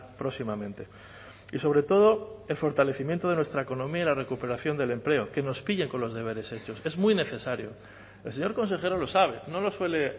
próximamente y sobre todo el fortalecimiento de nuestra economía y la recuperación del empleo que nos pille con los deberes hechos es muy necesario el señor consejero lo sabe no lo suele